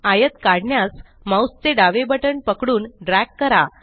आयत काढण्यास माउस चे डावे बटण पकडून ड्रॅग करा